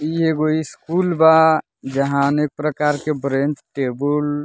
इ एगो स्कूल बा जहां अनेक प्रकार के ब्रेंच टेबुल --